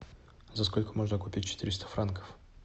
за сколько можно купить четыреста франков